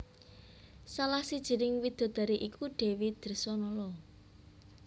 Salah sijining widodari iku Dèwi Dresanala